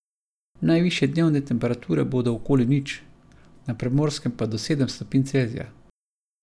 Najvišje dnevne temperature bodo okoli nič, na Primorskem pa do sedem stopinj Celzija.